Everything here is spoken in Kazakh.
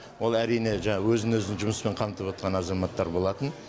ол әрине жаңағы өзін өзі жұмыспен қамтып отқан азаматтар болатын